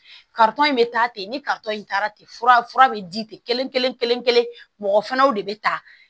in bɛ taa ten ni in taara ten fura fura bɛ di ten mɔgɔ fanaw de bɛ ta